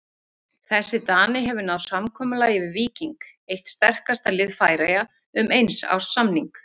Þessi Dani hefur náð samkomulagi við Víking, eitt sterkasta lið Færeyja, um eins árs samning.